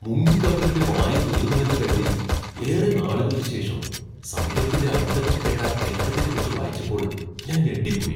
മുങ്ങിക്കപ്പലിന്റെ വായു തീർന്നുവെന്ന് കരുതി ഏറെ നാളുകൾക്കു ശേഷം സമുദ്രത്തിന്റെ അടിത്തട്ടിൽ കേട്ട ഇളക്കത്തെക്കുറിച്ച് വായിച്ചപ്പോൾ ഞാൻ ഞെട്ടിപ്പോയി.